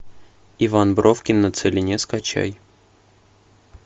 иван бровкин на целине скачай